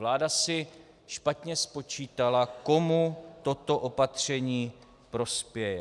Vláda si špatně spočítala, komu toto opatření prospěje.